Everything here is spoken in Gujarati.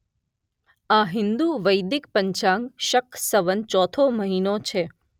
આ હિંદુ વૈદિક પંચાગ શક સંવતનો ચોથો મહિનો છે.